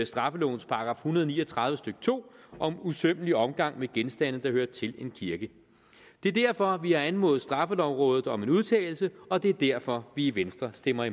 straffelovens § en hundrede og ni og tredive stykke to om usømmelig omgang med genstande der hører til en kirke det er derfor vi har anmodet straffelovrådet om en udtalelse og det er derfor vi i venstre stemmer